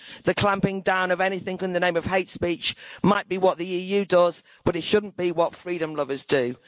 The clamping-down on anything in the name of hate speech might be what the EU does, but it should not be what freedom lovers do.